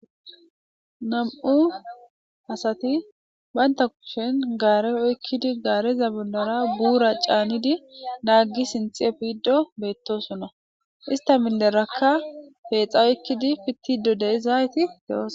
Nam'u asati baynta kushen gaare oykkidi gaareza bondara buura caanidi naaggi sinthi e fido beettosunna ista minderakka peexa oykkidi pittido deizaayti geos